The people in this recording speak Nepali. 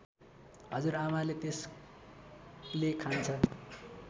हजुरआमाले त्यसले खान्छ